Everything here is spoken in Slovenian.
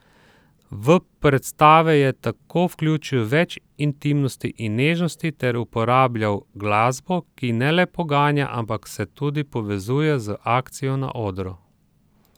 V predstave je tako vključil več intimnosti in nežnosti ter uporabljal glasbo, ki ne le poganja, ampak se tudi povezuje z akcijo na odru.